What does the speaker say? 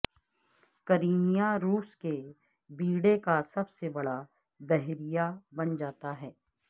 Crimea روس کے بیڑے کا سب سے بڑا بحریہ بن جاتا ہے